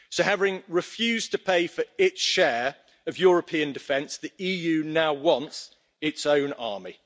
So, having refused to pay for its share of European defence, the EU now wants its own army.